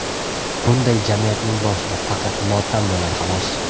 Bunday jamiyatning boshida faqat motam bo‘ladi xolos.